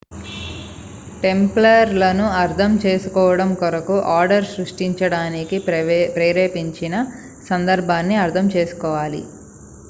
tumbler లను అర్థం చేసుకోవడం కొరకు ఆర్డర్ సృష్టించడానికి ప్రేరేపించిన సందర్భాన్ని అర్థం చేసుకోవాలి